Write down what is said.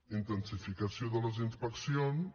intensificació de les inspeccions